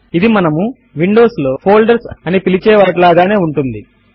ఇది మనము విండోస్ లో ఫోల్డర్స్ అని పిలిచేవాటి లాగానే ఉంటుంది